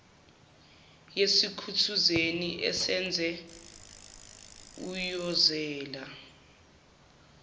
yesithukuthezi useze uyozela